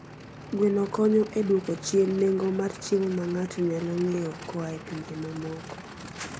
Gweno konyo e dwoko chien nengo mar chiemo ma ng'ato nyalo ng'iewo koa e pinje mamoko.